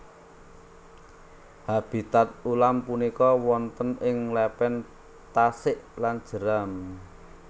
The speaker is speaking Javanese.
Habitat ulam punika wonten ing lepen tasik lan jeram